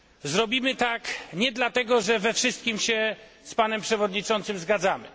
Zrobimy tak nie dlatego, że we wszystkim się z panem przewodniczącym zgadzamy.